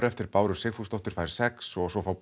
eftir Báru Sigfúsdóttur fær sex og svo fá